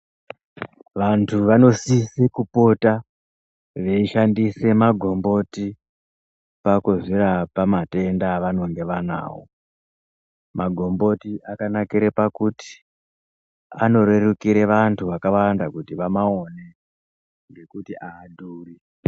Vantu vanosisa kupota veishandisa magomboti pakuzvirapa matenda avanenge vanawo magomboti akanakira pakuti anorerukira vantu vakawanda kuti vamaone ngekuti hadhuri.